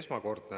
esmakordne.